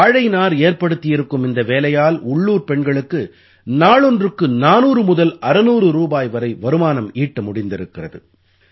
வாழை நார் ஏற்படுத்தியிருக்கும் இந்த வேலையால் உள்ளூர்ப் பெண்களுக்கு நாளொன்றுக்கு 400 முதல் 600 ரூபாய் வரை வருமானம் ஈட்ட முடிந்திருக்கிறது